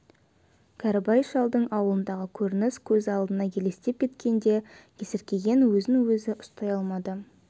кәрібай шалдың аулындағы көрініс көз алдына елестеп кеткенде есіркеген өзін өзі ұстай алмады